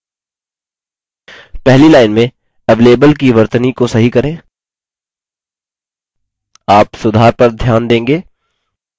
पहली लाइन में avalable की वर्तनी को सही करें आप सुधार पर ध्यान देंगे